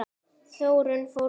Þórunn fór snemma að vinna.